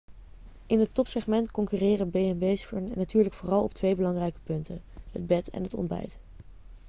in het topsegment concurreren b&b's natuurlijk vooral op twee belangrijke punten: het bed en het ontbijt